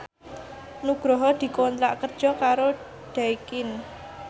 Nugroho dikontrak kerja karo Daikin